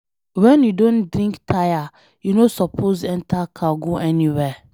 When you don drink tire, you no suppose enter car go anywhere.